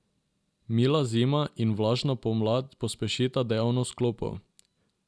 Mila zima in vlažna pomlad pospešita dejavnost klopov.